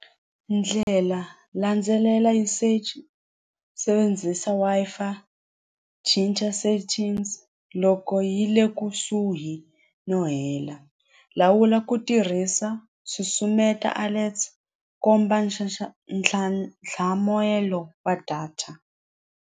Ndlela landzelela usage sebenzisa Wi-Fi cinca settings loko yi le kusuhi no hela lawula ku tirhisa susumeta alerts komba ntlhantlhamoyelo wa data.